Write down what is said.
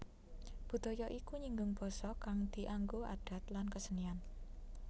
Budaya iku nyinggung basa kang dianggo adat lan kesenian